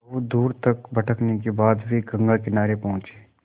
बहुत दूर तक भटकने के बाद वे गंगा किनारे पहुँचे